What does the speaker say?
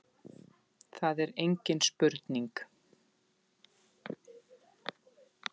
Það er engin spurning